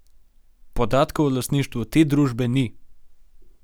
Podatkov o lastništvu te družbe ni.